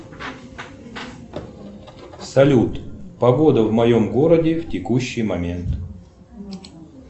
салют погода в моем городе в текущий момент